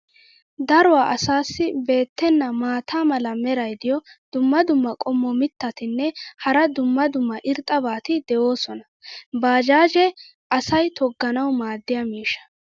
Daruwa asaassi beetenna maata mala meray diyo dumma dumma qommo mitattinne hara dumma dumma irxxabati de'oosona. baajaajee asay togganawu maadiya miishsha.